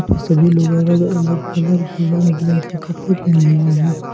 सभी लोगों अलग अलग कलर के रंग बिरंग कपड़े पहने हुए हैं।